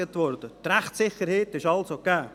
Die Rechtssicherheit ist also gegeben.